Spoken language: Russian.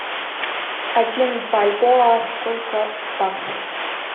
один бальбоа сколько в баксах